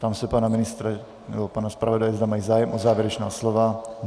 Ptám se pana ministra nebo pana zpravodaje, zda mají zájem o závěrečná slova.